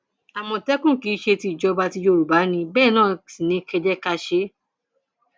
àmọtẹkùn kì í ṣe tìjọba tí yorùbá ní bẹẹ náà sì ni kẹ ẹ jẹ ká ṣe é